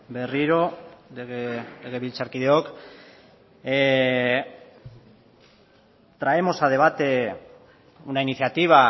berriro legebiltzarkideok traemos a debate una iniciativa